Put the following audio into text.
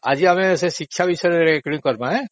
ଆଜି ଆମେ ସେ ଶିକ୍ଷା ବିଷୟରେ recording କରିବା